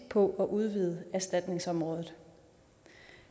på at udvide erstatningsområdet